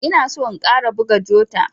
Ina son in ƙara buga jota.